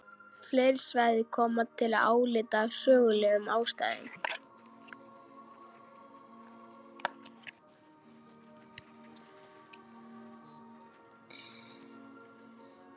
Fleiri svæði koma til álita af sögulegum ástæðum.